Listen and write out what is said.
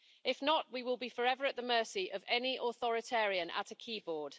If not, we will be forever at the mercy of any authoritarian at a keyboard.